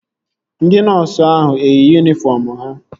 Ndị nọọsu ahụ eyi yunifọm ha?